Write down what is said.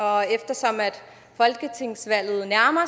og eftersom folketingsvalget nærmer